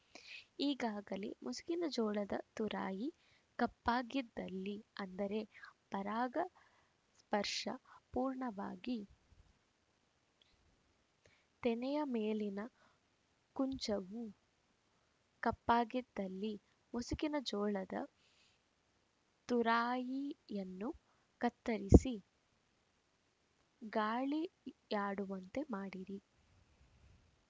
ಈಗಾಗಲೇ ಮುಸುಕಿನ ಜೋಳದ ತುರಾಯಿ ಕಪ್ಪಾಗಿದ್ದಲ್ಲಿ ಅಂದರೆ ಪರಾಗ ಸ್ಪರ್ಶ ಪೂರ್ಣವಾಗಿ ತೆನೆಯ ಮೇಲಿನ ಕುಂಚವು ಕಪ್ಪಾಗಿದ್ದಲ್ಲಿ ಮುಸುಕಿನ ಜೋಳದ ತುರಾಯಿಯನ್ನು ಕತ್ತರಿಸಿ ಗಾಳಿಯಾಡುವಂತೆ ಮಾಡಿರಿ